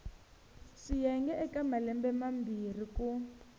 swiyenge eka malembe mambirhi ku